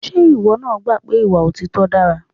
Ṣé ìwọ náà gbà pé ìwà òtítọ́ dára?